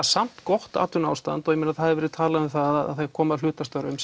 samt gott atvinnuástand og það hefur verið talað um það að koma á hlutastörfum